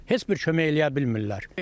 Heç bir kömək eləyə bilmirlər.